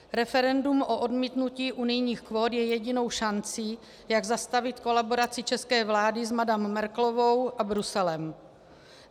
Referendum o odmítnutí unijních kvót je jedinou šancí, jak zastavit kolaboraci české vlády s madam Merkelovou a Bruselem.